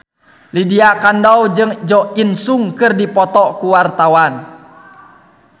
Lydia Kandou jeung Jo In Sung keur dipoto ku wartawan